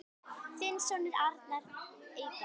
Þinn sonur, Arnar Eyberg.